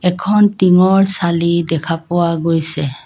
এখন টিঙৰ চালি দেখা পোৱা গৈছে।